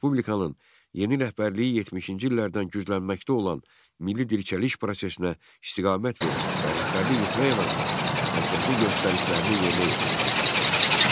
Respublikanın yeni rəhbərliyi 70-ci illərdən güclənməkdə olan milli dirçəliş prosesinə istiqamət vermək və rəhbərlik etmək əvəzinə, mərkəzin göstərişlərini yerinə yetirməyə çalışırdı.